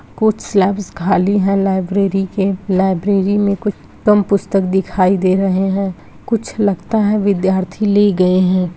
कुछ शेल्वेस खाली है लाइब्रेरी के लाइब्रेरी में कुछ कम पुस्तक दिखाई दे रहे हैं कुछ लगता है विद्यार्थी ले गए हैं।